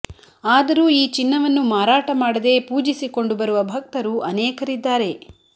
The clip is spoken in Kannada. ಆದರೂ ಈ ಚಿನ್ನವನ್ನು ಮಾರಾಟ ಮಾಡದೇ ಪೂಜಿಸಿಕೊಂಡು ಬರುವ ಭಕ್ತರು ಅನೇಕರಿದ್ದಾರೆ